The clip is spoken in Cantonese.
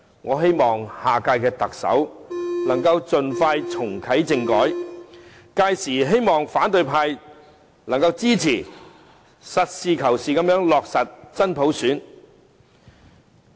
我希望下屆特首能夠盡快重啟政改，屆時希望反對派能夠支持，實事求是地落實真普選。